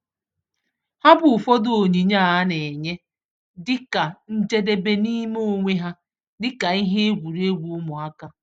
Ha bụ ụfọdụ onyinye a na-enye dị ka njedebe n'ime onwe ha, dị ka ihe egwuregwu ụmụaka.